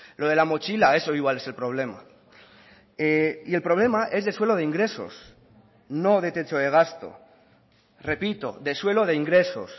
lo de la mochila eso igual es el problema y el problema es de suelo de ingresos no de techo de gasto repito de suelo de ingresos